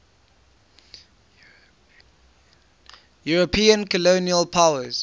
european colonial powers